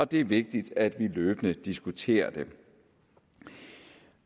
det er vigtigt at vi løbende diskuterer det